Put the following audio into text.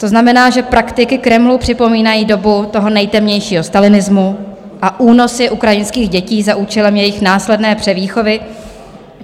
To znamená, že praktiky Kremlu připomínají dobu toho nejtemnějšího stalinismu a únosy ukrajinských dětí za účelem jejich následné převýchovy.